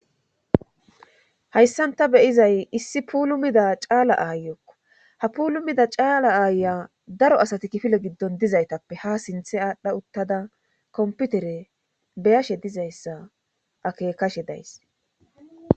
hayssanta beyizay issi puulumida caala aayokko ha pulumida caala aaya daro asati kifile giddon dizaytappe ha sinthe aadhdha uttada komputere beyashe dizayssa akekashe days